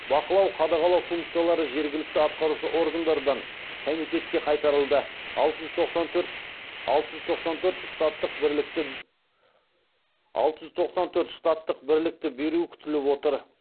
бақылау қадағалау функциялары жергілікті атқарушы органдардан комитетке қайтарылды алты жүз тоқсан төрт штаттық бірлікті беру күтіліп отыр